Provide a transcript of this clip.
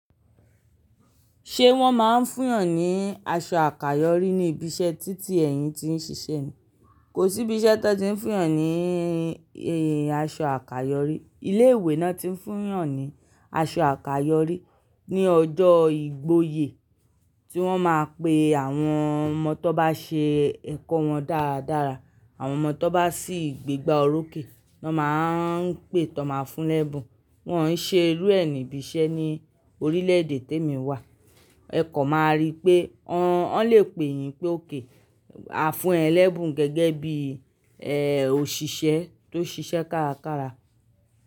Ṣé wọ́n máa ń fún yàn ní aṣọ àkayòrí ní ibi iṣẹ́ títí ẹ̀yin ti ń ṣiṣẹ́ ni? Kò sí ibi iṣẹ́ tó ti ń fún yàn ní aṣọ àkayòrí. Ilé ìwé náà tí ń fún yàn ní aṣọ àkayòrí ní ọjọ́ ìgboyè tí wọ́n máa pe àwọn ọmọ tó bá ṣe ẹ̀kọ́ wọn dáradára. Àwọn ọmọ tó bá sì gbégbá oróké, wọ́n máa ń pè t'won ma fún lẹ́bùn. Wọ́n ò ṣe irú ẹ ni ibi iṣẹ́ ní orílẹ̀ èdè tí èmi wà. Ẹ̀ kan máa rí pé wọ́n lè pè yín pé ókè. A fún ẹ lẹ́bùn gẹ́gẹ́ bí, eèò, òṣìṣẹ́ tó ṣiṣẹ́ kárakára.